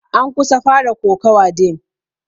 An kusan fara kokawa din.